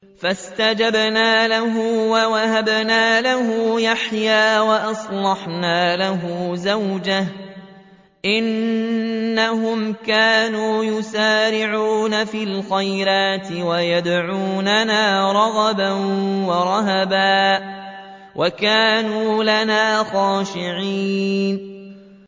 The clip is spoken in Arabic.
فَاسْتَجَبْنَا لَهُ وَوَهَبْنَا لَهُ يَحْيَىٰ وَأَصْلَحْنَا لَهُ زَوْجَهُ ۚ إِنَّهُمْ كَانُوا يُسَارِعُونَ فِي الْخَيْرَاتِ وَيَدْعُونَنَا رَغَبًا وَرَهَبًا ۖ وَكَانُوا لَنَا خَاشِعِينَ